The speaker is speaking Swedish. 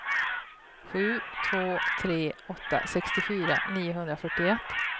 sju två tre åtta sextiofyra niohundrafyrtioett